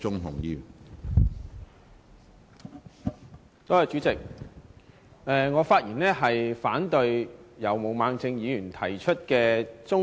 主席，我發言反對由毛孟靜議員提出的中止待續議案。